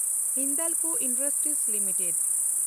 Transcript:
Hindalco industries limited